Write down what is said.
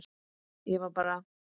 Ég var bara.